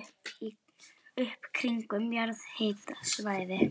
upp kringum jarðhitasvæði.